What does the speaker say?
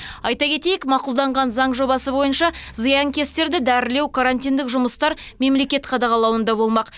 айта кетейік мақұлданған заң жобасы бойынша зиянкестерді дәрілеу карантиндік жұмыстар мемлекет қадағалауында болмақ